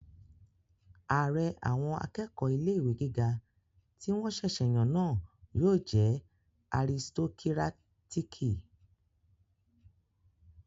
Ààrẹ àwọn akẹ́kọ̀ọ́ ilé-ìwé gíga tí wọ́n ṣẹ̀sẹ̀ yàn náà yóò jẹ́ aristokírátíkì